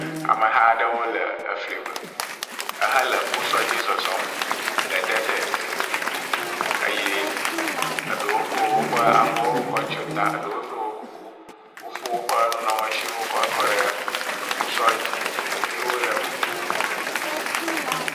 Ameha aɖewo le efli me ehe le ekposɔ dzi zɔzɔm le deset eye eɖewo ko woƒe avɔwo kɔ tso ta eɖewo ɖo kuku. Wofɔ woƒe nunɔmesiwo kɔ kɔ ɖe ekposɔ dzi. Ɖeviwo le eme.